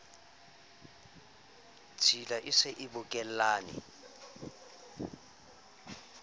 tshila e se e bokellane